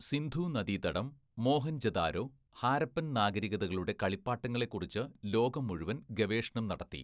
സിന്ധൂനദീതടം, മൊഹൻജൊ ദാരോ, ഹാരപ്പൻ നാഗരികതകളുടെ കളിപ്പാട്ടങ്ങളെക്കുറിച്ച് ലോകം മുഴുവൻ ഗവേഷണം നടത്തി.